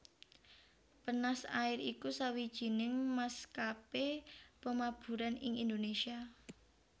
Penas Air iku sawijining maskapé pamaburan ing Indonésia